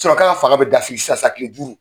k'a ka fanga bɛ dafiri san san kile duuru.